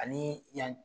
Ani yan